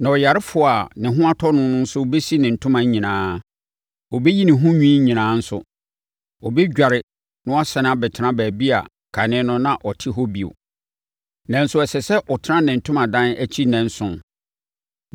“Na ɔyarefoɔ a ne ho atɔ no no bɛsi ne ntoma nyinaa. Ɔbɛyi ne ho nwi nyinaa nso. Ɔbɛdware na wasane abɛtena baabi a kane no na ɔte hɔ bio; nanso ɛsɛ sɛ ɔtena ne ntomadan akyi nnanson.